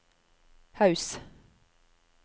Haus